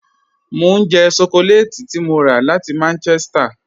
Mọ n jẹ́ shọkọlẹ́tì tí mọ́ rà láti Manchester